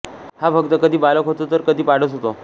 हा भक्त कधी बालक होतो तर कधी पाडस होतो